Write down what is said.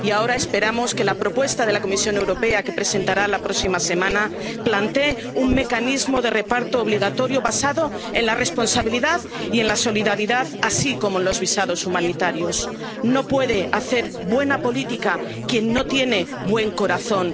Y ahora esperamos que la propuesta de la Comisión Europea —que presentará la próxima semana— plantee un mecanismo de reparto obligatorio basado en la responsabilidad y en la solidaridad, así como en los visados humanitarios. No puede hacer buena política quien no tiene buen corazón.